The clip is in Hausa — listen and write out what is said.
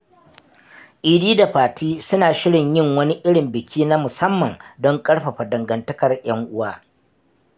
Idi da Fati suna shirin yin wani irin biki na musamman don ƙarfafa dangantakar ‘yan uwa.